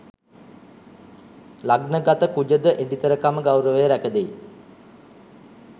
ලග්නගත කුජ ද එඩිතරකම ගෞරවය රැකදෙයි.